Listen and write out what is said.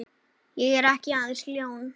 Ég er ekki aðeins ljón.